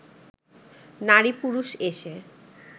নারী পুরুষ এসে